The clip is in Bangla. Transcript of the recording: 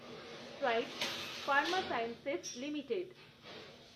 strides Pharma Science limited